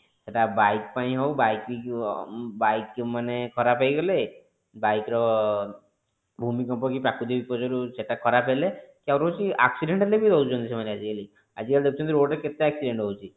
ସେଟା bike ପାଇଁ ହଉ bike bike ଯଉମାନେ ଖରାବ ହେଇଗଲେ bike ର ଭୂମି କମ୍ପ କି ପ୍ରାକୃତିକ ବିପର୍ଜୟରୁ ସେଟା ଖରାପ ହେଲେ କୌଣସି accident ହେଲେ ବି ରହୁଛନ୍ତି ସେମାନେ ଆଜି କାଲି ଆଜି କଲି ଦେଖୁଛନ୍ତି rode ରେ କେତେ accident ହୋଉଛି